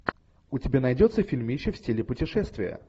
у тебя найдется фильмище в стиле путешествия